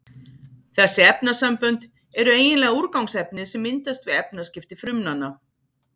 Þessi efnasambönd eru eiginlega úrgangsefni sem myndast við efnaskipti frumnanna.